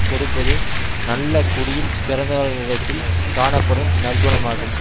கொடுப்பதே நல்ல குடியில் பிறந்தவர்களிடத்தில் காணப்படும் நற்குணமாகும்